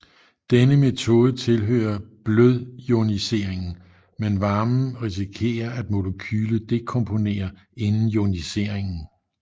Denne metode tilhøre blødioniering men varmen risikere at molekylet dekomponere inden ioniseringen